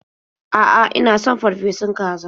A'a, ina son farfesun kaza.